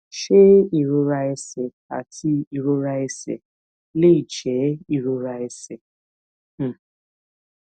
ṣé ìrora ẹsè àti ìrora ẹsè lè jé ìrora ẹsè um